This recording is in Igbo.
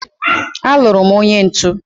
aluru m onye ntu